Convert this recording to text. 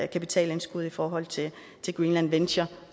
kapitalindskud i forhold til greenland venture